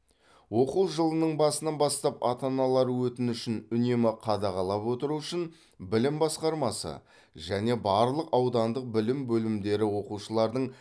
оқу жылының басынан бастап ата аналар өтінішін үнемі қадағалап отыру үшін білім басқармасы және барлық аудандық білім бөлімдері оқушылардың